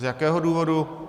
Z jakého důvodu?